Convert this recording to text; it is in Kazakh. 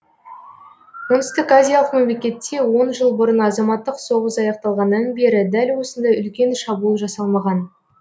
оңтүстіказиялық мемлекетте он жыл бұрын азаматтық соғыс аяқталғаннан бері дәл осындай үлкен шабуыл жасалмаған